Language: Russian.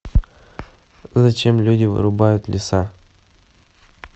зачем люди вырубают леса